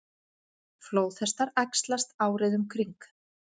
Flóðhestar æxlast árið um kring.